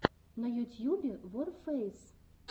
на ютьюбе ворфэйс